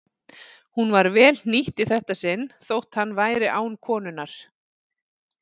Hún var vel hnýtt í þetta sinn þótt hann væri án konunnar.